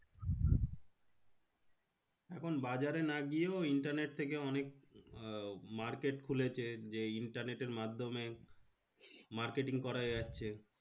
এখন বাজারে না গিয়েও internet থেকে অনেক আহ market খুলেছে। যে internet এর মাধ্যমে marketing করা যাচ্ছে।